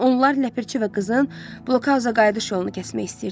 Onlar Ləpirçi və qızın blokauza qayıdış yolunu kəsmək istəyirdilər.